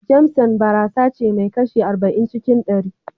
JAMESON barasace mai kashi arba'in cikin ɗari.